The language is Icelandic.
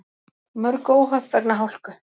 Mörg óhöpp vegna hálku